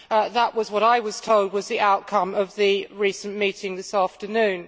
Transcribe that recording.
That was what I was told was the outcome of the meeting this afternoon.